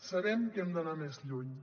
sabem que hem d’anar més lluny